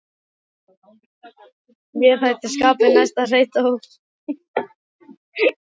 Mér er það skapi næst, hreytti hún útúr sér.